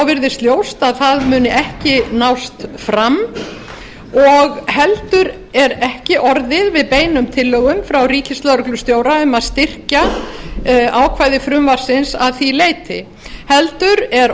virðist ljóst að það muni ekki nást fram og heldur er ekki orðið við beinum tillögum frá ríkislögreglustjóra um að styrkja ákvæði frumvarpsins að því leyti heldur er